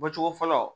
Bɔcogo fɔlɔ